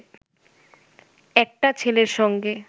একটা ছেলের সঙ্গে